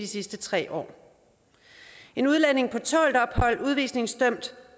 sidste tre år en udlænding på tålt ophold en udvisningsdømt